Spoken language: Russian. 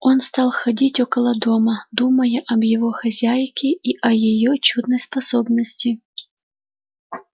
он стал ходить около дома думая об его хозяйке и о её чудной способности